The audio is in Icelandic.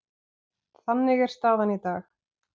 Þannig er staðan í dag.